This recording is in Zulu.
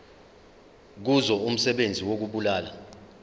kuzo umsebenzi wokubulala